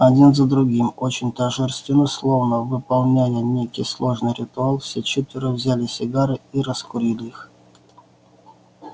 один за другим очень торжественно словно выполняя некий сложный ритуал все четверо взяли сигары и раскурили их